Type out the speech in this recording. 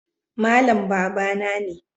Malam babana ne